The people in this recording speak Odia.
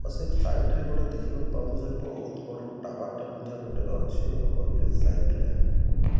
ସେ ଫ୍ଲାଇଟ ରେ ଗୋଟେ ଦେଖିବାକୁ ପାଉଚୁ ଯେ ବହୁତ ବଡ ଟାୱାର ଟେ ମଧ୍ୟ ଗୋଟେ ଅଛି ଓଭର ବ୍ରିଜ ସାଇଟ ରେ ରେ।